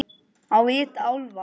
Á vit álfa.